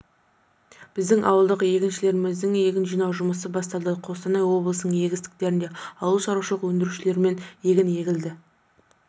біздің ауылдық еңбекшілеріміздің егін жинауы жұмысы басталды қостанай облысының егістіктерінде ауыл шарушылық өндірушілерімен га егін егілді